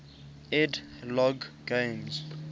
ed logg games